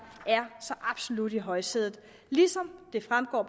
så absolut er i højsædet ligesom det fremgår af